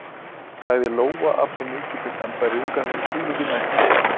sagði Lóa af svo mikilli sannfæringu að hún trúði því næstum sjálf.